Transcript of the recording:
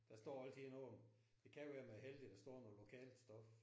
Der står altid noget. Det kan være man er heldig der står noget lokalt stof